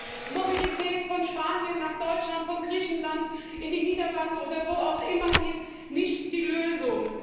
Da ist auch Mobilität von Spanien nach Deutschland, von Griechenland in die Niederlande oder wo auch immer hin, nicht die Lösung.